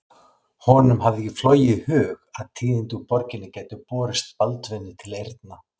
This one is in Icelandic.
Honum hafði ekki flogið í hug að tíðindi úr borginni gætu borist Baldvini til eyrna.